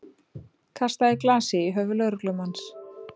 Kastaði glasi í höfuð lögreglumanns